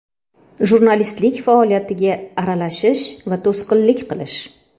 Jurnalistlik faoliyatiga aralashish va to‘sqinlik qilish.